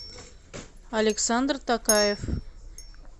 александр токаев